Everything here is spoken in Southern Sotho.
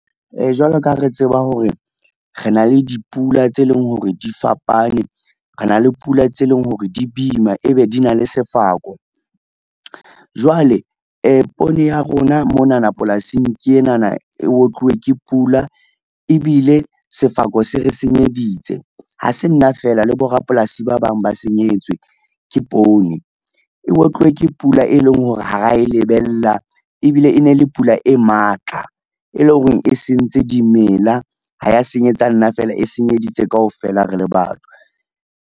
Jwalo ka ha re tseba hore rena le dipula tse leng hore di fapane, re na le pula tse leng hore di boima ebe di na le sefako. Jwale poone ya rona monana polasing ke enana e otluwe ke pula ebile sefako se re senyeditse, ha se nna fela le borapolasi ba bang ba senyetswe ke poone. E otluwe ke pula e leng hore ha ra e lebella ebile e ne le pula e matla, e leng hore e sentse dimela ha ya senyetsa nna fela e senyeditse kaofela re le batho.